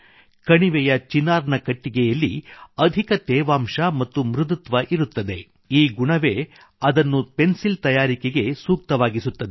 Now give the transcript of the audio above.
ಕಣಿವೆಯ ಚಿನಾರ್ ನ ಕಟ್ಟಿಗೆಯಲ್ಲಿ ಅಧಿಕ ತೇವಾಂಶ ಮತ್ತು ಮೃದುತ್ವ ಇರುತ್ತದೆ ಈ ಗುಣವೇ ಅದನ್ನು ಪೆನ್ಸಿಲ್ ತಯಾರಿಕೆಗೆ ಸೂಕ್ತವಾಗಿಸುತ್ತದೆ